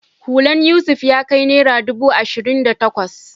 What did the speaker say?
Hulan Yusuf ya kai naira ɗubu ashirin da takwas